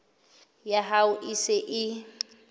ya hao e se e